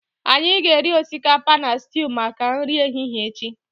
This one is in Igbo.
anyị ga-eri osikapa na stew maka nri ehihie echi